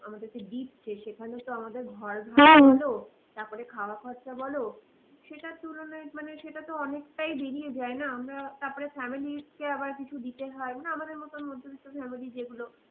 আমাদেরকে দিচ্ছে সেখানেও তো আমাদের ঘর ভাড়া তারপরে খাওয়া খরচা বলো সেটার তুলনায় মানে সেটা তো অনেকটাই বেরিয়ে যায় না আমরা তারপরে families কে আবার কিছু দিতে হয় মানে আমাদের মতো মধ্যবিত্ত family যেগুলো